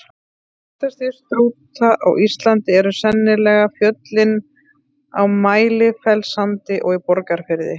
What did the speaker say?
Þekktastir Strúta á Íslandi eru sennilega fjöllin á Mælifellssandi og í Borgarfirði.